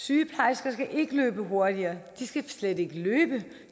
sygeplejersker skal ikke løbe hurtigere de skal slet ikke løbe